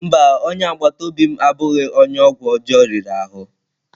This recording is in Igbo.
Mba, onye agbata obi m abụghị onye ọgwụ ọjọọ riri ahụ?